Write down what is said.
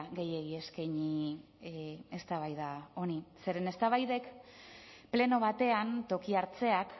gehiegi eskaini eztabaida honi zeren eztabaidek pleno batean toki hartzeak